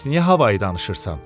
Bəs niyə havayı danışırsan?